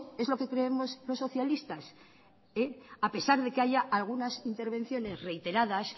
es lo que creemos los socialista a pesar de que haya algunas intervenciones reiteradas